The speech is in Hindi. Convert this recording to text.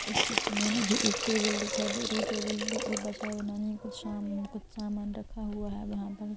इस चित्र में मुझे एक टेबल दिखाई दे रही है टेबल के ऊपर साय बनानी है कुछ सामान रखा हुआ है वहां पर--